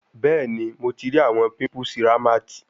Bẹẹni, Mo ti ri awọn pimples Rahmat